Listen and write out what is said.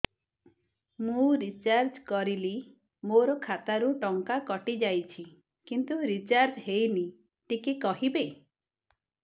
ମୁ ରିଚାର୍ଜ କରିଲି ମୋର ଖାତା ରୁ ଟଙ୍କା କଟି ଯାଇଛି କିନ୍ତୁ ରିଚାର୍ଜ ହେଇନି ଟିକେ କହିବେ